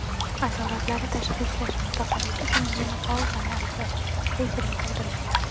Asoratlari Tashxislash Mutaxassis uchun menopauzani aniqlash qiyinchilik tug‘dirmaydi .